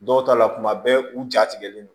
Dɔw ta la kuma bɛɛ u ja tigɛlen don